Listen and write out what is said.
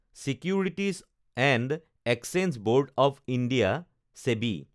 securities and exchange board of India SEBI